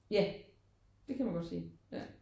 Ja det kan man godt sige ja